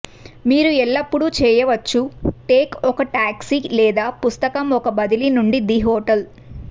మీరు ఎల్లప్పుడూ చెయ్యవచ్చు టేక్ ఒక టాక్సీ లేదా పుస్తకం ఒక బదిలీ నుండి ది హోటల్